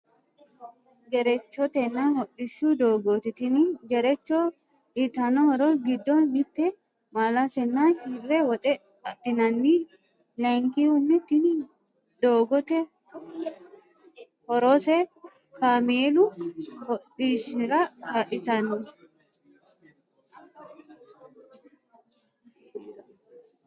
Gerechotena hodhishshu doogoti Tini gerecho uyitano horro giddo mitte maalase nna hirre woxe adhinanni layikihuni Tini doogote horrose kaamelu hodhishira kaalitanno.